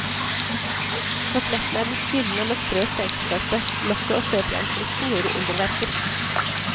Kotelettene er blitt gyldne og med sprø stekeskorpe, lokket og støpejernsristen gjorde underverker.